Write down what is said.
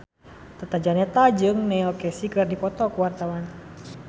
Tata Janeta jeung Neil Casey keur dipoto ku wartawan